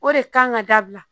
O de kan ka dabila